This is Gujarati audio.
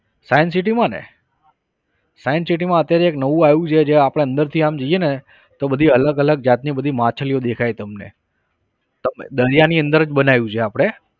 science city માં ને science city માં અત્યારે એક નવું આવ્યું છે જે આપણે અંદરથી આમ જઈએ ને તો બધી અલગ અલગ જાતની બધી માછલીઓ દેખાય તમને તમે દરિયાની અંદર જ બનાવ્યું છે આપણે.